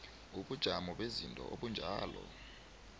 ubujamo bezinto obunjalo